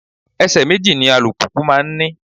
Ẹsẹ méjì ni alùpùpù máa ń ní